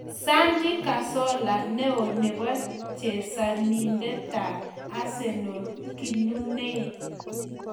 Santi Cazorla:Ne o nebo chesanindetab Arsenal kinunei.